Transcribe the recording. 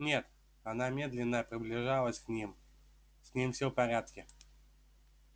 нет она медленно приближалась к ним с ним все в порядке